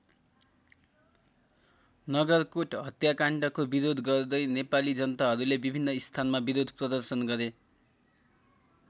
नगरकोट हत्याकाण्डको विरोध गर्दै नेपाली जनताहरूले विभिन्न स्थानमा विरोध प्रदर्शन गरे।